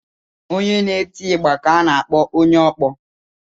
Onye na-eti igba ka a na-akpọ onye ọkpọ.